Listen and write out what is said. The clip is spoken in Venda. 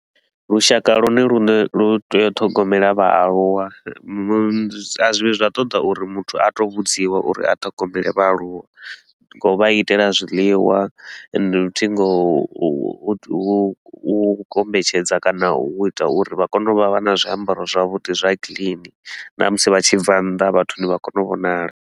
Lushaka lwone lune lu tea u ṱhogomela vhaaluwa musi a zwi vhi zwa ṱoḓa uri muthu a to u vhudziwa uri a ṱhogomele vhaaluwa. Ngo u vha itela zwiliwa ende futhi nga u u kombetshedza kana u ita uri vha kone u vha vha na zwiambaro zwavhudi zwa clean na musi vha tshi bva nnḓa vhathuni, vha kone u vhonala.